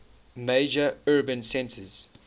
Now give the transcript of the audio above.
major urban centers